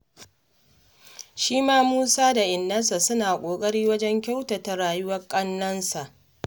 Shi ma Musa da innarsa suna ƙoƙari wajen kyautata rayuwar ƙannensa.